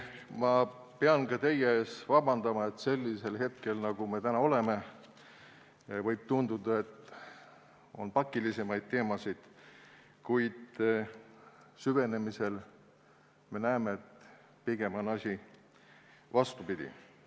Ma pean ka teie käest vabandust paluma, sest sellisel hetkel, nagu meil praegu on, võib tunduda, et on pakilisemaid teemasid, kuid kui süveneda, siis me näeme, et pigem on asi vastupidine.